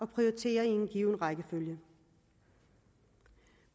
prioritere i en given rækkefølge